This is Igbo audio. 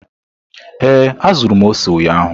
Ee, azụrụ m ose ụnyahụ.